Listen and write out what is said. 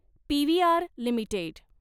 PVR limited